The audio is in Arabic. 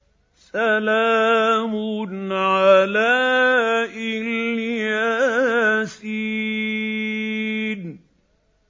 سَلَامٌ عَلَىٰ إِلْ يَاسِينَ